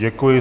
Děkuji.